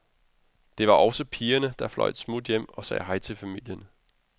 Det var også pigerne, der fløj et smut hjem og sagde hej til familien.